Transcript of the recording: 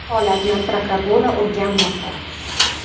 Holatni prokuratura o‘rganmoqda.